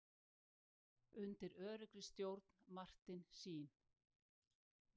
Undir öruggri stjórn Martin Sheen.